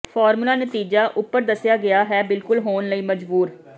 ਫ਼ਾਰਮੂਲੇ ਨਤੀਜਾ ਉਪਰ ਦੱਸਿਆ ਗਿਆ ਹੈ ਬਿਲਕੁਲ ਹੋਣ ਲਈ ਮਜਬੂਰ